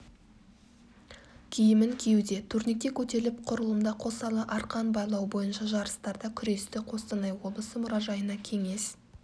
киімін киюде турникте көтеріліп құрылымда қосарлы арқан байлау бойынша жарыстарда күресті қостанай облысы мұражайына кеңес